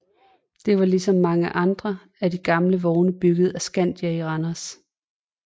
Den var ligesom mange andre af de gamle vogne bygget af Scandia i Randers